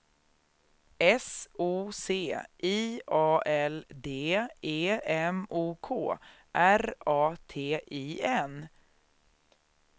S O C I A L D E M O K R A T I N